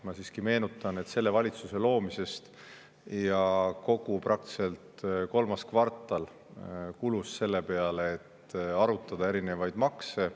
Ma siiski meenutan, et selle valitsuse loomisest ja praktiliselt kogu kolmas kvartal kulus selle peale, et arutada erinevate maksude üle.